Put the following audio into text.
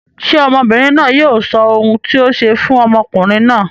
Ṣé ọmọbìnrin náà yóò sọ ohun tí o ṣe fún ọkùnrin náà?